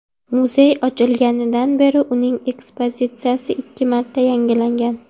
Muzey ochilganidan beri uning ekspozitsiyasi ikki marta yangilangan.